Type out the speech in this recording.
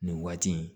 Nin waati in